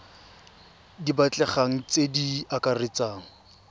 di batlegang tse di akaretsang